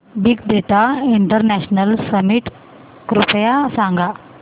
big data international summit कृपया सांगा